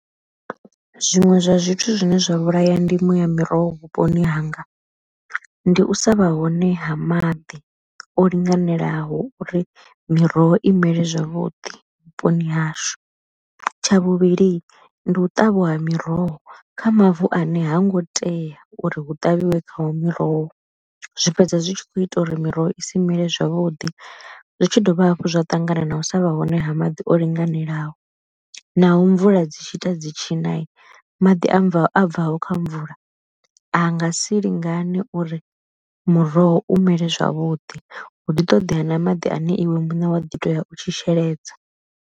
Zwiṅwe zwa zwithu zwine zwa vhulaya ndimo ya miroho vhuponi hanga, ndi u sa vha hone ha maḓi o linganelaho uri miroho i mele zwavhuḓi vhuponi hashu, tsha vhuvhili ndi u ṱavha ha miroho kha mavu ane ha ngo tea uri hu ṱavhiwe khawo miroho, zwi fhedza zwi tshi kho ita uri miroho isi mele zwavhuḓi zwi tshi dovha hafhu zwa ṱangana na u sa vha hone ha maḓi o linganelaho. Naho mvula dzi tshi ita dzi tshi na maḓi a bvaho kha mvula a nga si lingani uri muroho u mele zwavhuḓi, hu ḓi ṱoḓea na maḓi ane iwe muṋe wa ḓi to ya u tshi sheledza.